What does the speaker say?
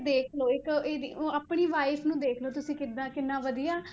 ਦੇਖ ਲਓ ਇੱਕ ਇਹਦੀ ਉਹ ਆਪਣੀ wife ਨੂੰ ਵੇਖ ਲਓ ਤੁਸੀਂ ਕਿੱਦਾਂ ਕਿੰਨਾ ਵਧੀਆ,